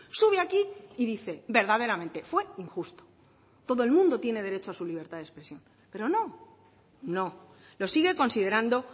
sube aquí y dice verdaderamente fue injusto todo el mundo tiene derecho a su libertad de expresión pero no no lo sigue considerando